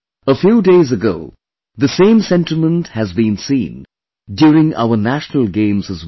A few days ago, the same sentiment has been seen during our National Games as well